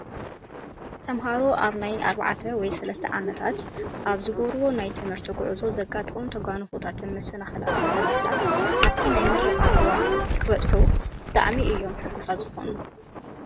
ተምሃሮ ኣብ ናይ 4ተ ወይ 3ተ ኣመታት ኣብ ዝገብርዎ ናይ ትምህርቲ ጉዕዞ ዘጋጥሞም ተጓንፎታን መሰናክልታትን ብምሕላፍ ኣብቲ ናይ ምረቃ እዋኖም እንትበፅ ብጣዕሚ እዮም ሕጉሳት ዝኾኑ።